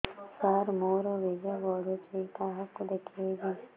ସାର ମୋର ବୀର୍ଯ୍ୟ ପଢ଼ୁଛି କାହାକୁ ଦେଖେଇବି